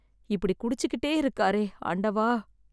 இப்படி குடிச்சிகிட்டே இருக்காரே, ஆண்டவா.